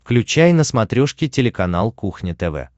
включай на смотрешке телеканал кухня тв